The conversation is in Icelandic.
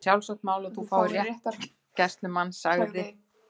Það er sjálfsagt mál að þú fáir réttargæslumann- sagði